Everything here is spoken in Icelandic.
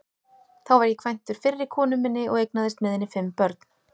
Þá var ég kvæntur fyrri konu minni og eignaðist með henni fimm börn.